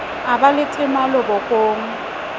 a ba le temalo bokong